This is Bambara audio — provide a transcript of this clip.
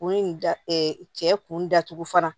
U da cɛ kun datugu fana